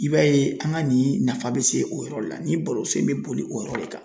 I b'a ye an ga nin nafa be se o yɔrɔ la ni barosen be boli o yɔrɔ de kan